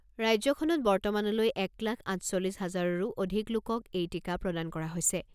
ৰাজ্যখনত বৰ্তমানলৈ এক লাখ আঠচল্লিছ হাজাৰৰো অধিক লোকক এই টীকা প্ৰদান কৰা হৈছে।